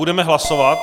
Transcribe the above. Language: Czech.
Budeme hlasovat.